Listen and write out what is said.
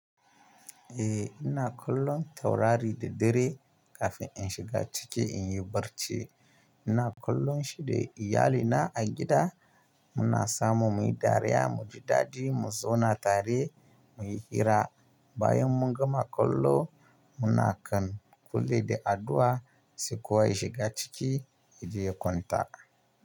Eh ina kallon taurari da dare kafin in shiga ciki in yi barci. Ina kallon shi da iyalina a gida muna samu muyi dariya, muji daɗi, mu zauna tare muyi hira. Bayan mun gama kallo muna kan kule da addu'a sai kuwa shiga ciki yaje ya kwanta.